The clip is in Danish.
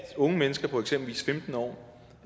unge mennesker på eksempelvis femten år